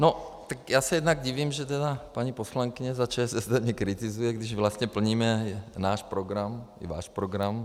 No tak já se jednak divím, že tedy paní poslankyně za ČSSD mě kritizuje, když vlastně plníme náš program i váš program.